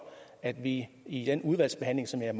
at vi i den udvalgsbehandling som jeg